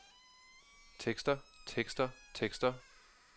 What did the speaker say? tekster tekster tekster